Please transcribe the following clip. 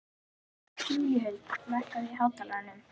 Júlíhuld, lækkaðu í hátalaranum.